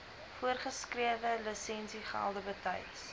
voorgeskrewe lisensiegelde betyds